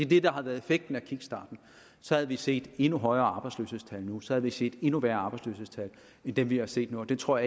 det der har været effekten af kickstarten så havde vi set endnu højere arbejdsløshedstal nu så havde vi set endnu værre arbejdsløshedstal end dem vi har set nu og det tror